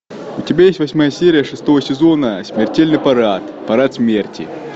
у тебя есть восьмая серия шестого сезона смертельный парад парад смерти